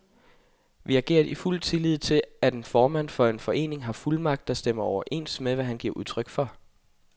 Vi agerede i fuld tillid til, at en formand for en forening har fuldmagt, der stemmer overens med, hvad han giver udtryk for.